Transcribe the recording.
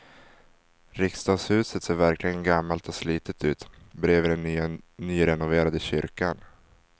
Riksdagshuset ser verkligen gammalt och slitet ut bredvid den nyrenoverade kyrkan.